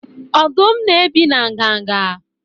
Ọdụm na-ebi na nganga?